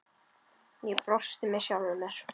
Ég brosti með sjálfri mér.